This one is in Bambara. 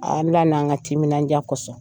Ala n'an ka timindiya kɔsɔn.